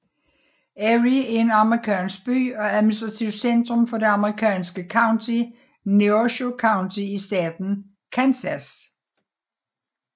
Erie er en amerikansk by og administrativt centrum for det amerikanske county Neosho County i staten Kansas